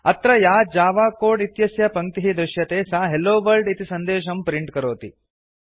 अत्र या Java code इत्यस्य पङ्क्तिः दृश्यते सा हेल्लो वर्ल्ड इति सन्देशं प्रिंट् करोति